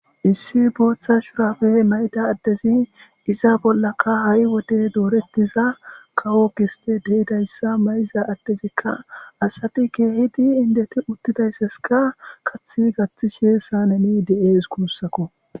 Issi booththa shurabe mayda addezi iza bollaka ha'i wode doorettiza kawo giste deidayssa mayiza addezikka asati keehidi indeti uttidaysseska kathi gathtishe sa nemi de'e iskurssakko.